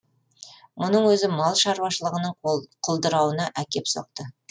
мұның өзі мал шаруашылығының құлдырауына әкеп соқты